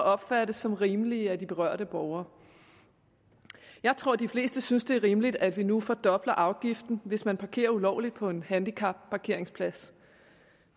opfattes som rimelige af de berørte borgere jeg tror de fleste synes det er rimeligt at vi nu fordobler afgiften hvis man parkerer ulovligt på en handicapparkeringsplads